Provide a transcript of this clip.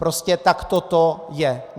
Prostě takto to je.